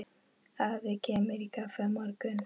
Afi kemur í kaffi á morgun.